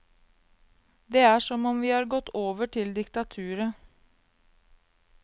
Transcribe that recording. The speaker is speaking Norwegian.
Det er som om vi har gått over til diktaturet.